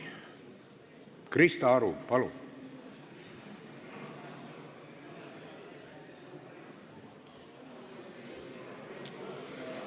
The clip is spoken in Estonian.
Krista Aru, palun!